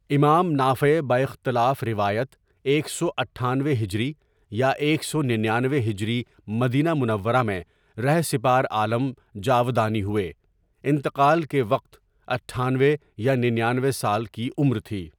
امام نافع باختلاف روایت ایک سو اٹھانوے ہجری یا ایک سو ننانوے ہجری مدینہ منورہ میں رہ سپار عالم جاودانی ہوئے، انتقال کے وقت اٹھانوے یا ننانوے سال کی عمر تھی.